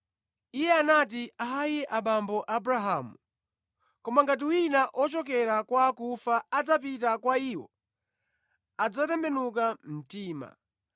“Iye anati, ‘Ayi, bambo Abrahamu, koma ngati wina ochokera kwa akufa adzapita kwa iwo, adzatembenuka mtima.’